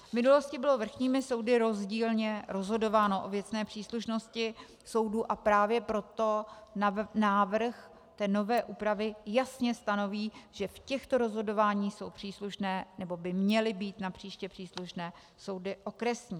V minulosti bylo vrchními soudy rozdílně rozhodováno o věcné příslušnosti soudů, a právě proto návrh nové úpravy jasně stanoví, že v těchto rozhodováních jsou příslušné, nebo by měly být napříště příslušné soudy okresní.